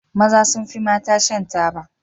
Maza sun fi mata shan taba.